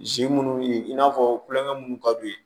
Zi munnu ye i n'a fɔ kulonkɛ munnu ka d'u ye